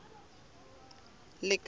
lekala